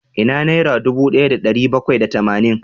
Ina naira dubu daya da dari bakwai da tamanin?